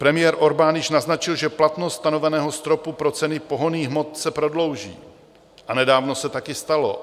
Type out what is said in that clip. Premiér Orbán již naznačil, že platnost stanoveného stropu pro ceny pohonných hmot se prodlouží, a nedávno se také stalo.